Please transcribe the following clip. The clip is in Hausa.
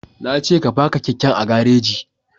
Na ce ka faka keken a gareji